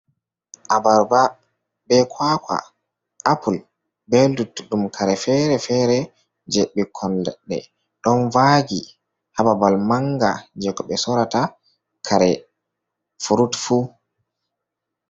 Abarba be kwakwa, Apul be luttuɗum kare-fere-fere je ɓikkon leɗɗe don vagi hababal manga je ko ɓe sorata kare furut fu.